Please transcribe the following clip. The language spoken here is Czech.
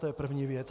To je první věc.